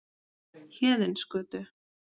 Héðinsgötu